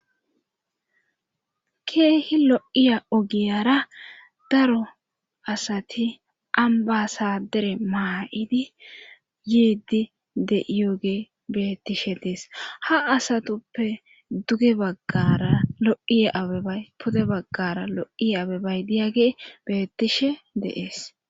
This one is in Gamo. Keehi lo7iya ogiyara daro asati ambasa dere maa7idi yeeddi de7iyoge beettishe dees ha asatuppe duge baggara lo7iye abebay pude baggara lo7iye abebay diyage beettishe deees.